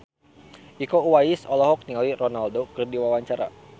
Iko Uwais olohok ningali Ronaldo keur diwawancara